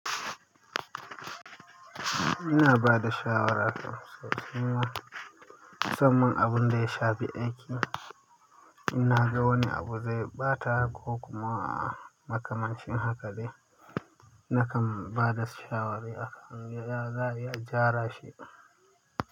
Ina ba da shawara ƙo sosai ma musanman abun da ya shafi aiki. In na ga wani abu zai ɓata ko kuma makamancin haka ne, nakan ba da shawara akan ya za'ayi a gyara shi.